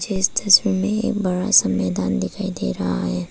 मुझे इस तस्वीर में एक बड़ा सा मैदान दिखाई दे रहा है।